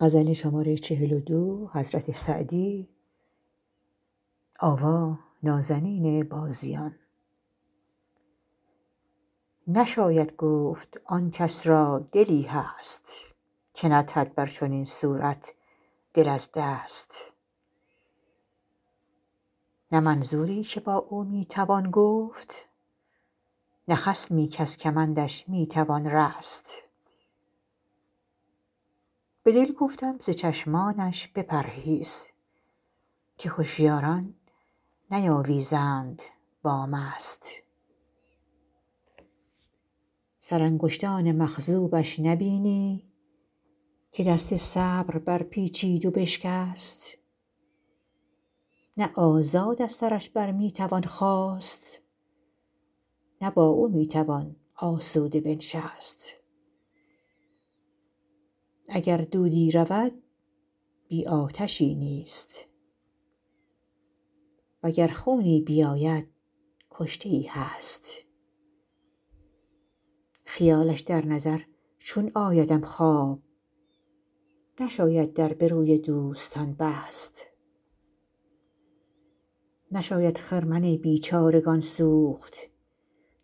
نشاید گفتن آن کس را دلی هست که ندهد بر چنین صورت دل از دست نه منظوری که با او می توان گفت نه خصمی کز کمندش می توان رست به دل گفتم ز چشمانش بپرهیز که هشیاران نیاویزند با مست سرانگشتان مخضوبش نبینی که دست صبر برپیچید و بشکست نه آزاد از سرش بر می توان خاست نه با او می توان آسوده بنشست اگر دودی رود بی آتشی نیست و گر خونی بیاید کشته ای هست خیالش در نظر چون آیدم خواب نشاید در به روی دوستان بست نشاید خرمن بیچارگان سوخت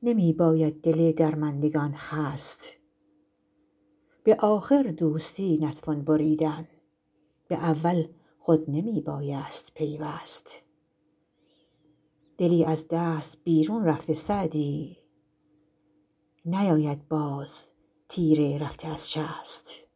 نمی باید دل درماندگان خست به آخر دوستی نتوان بریدن به اول خود نمی بایست پیوست دلی از دست بیرون رفته سعدی نیاید باز تیر رفته از شست